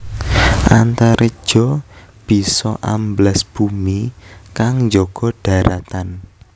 Antareja bisa ambles bumi kang njaga dharatan